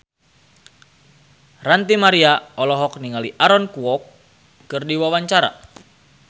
Ranty Maria olohok ningali Aaron Kwok keur diwawancara